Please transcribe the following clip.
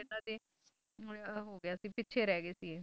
ਇਨ੍ਹਾਂ ਦੇ ਉਹ ਹੋ ਗਿਆ ਸੀ ਪਿੱਛੇ ਰਹੀ ਗਏ ਸੀ ਇਹ